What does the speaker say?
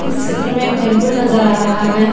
इस चित्र में एक टेंपल नजर आ रहा है।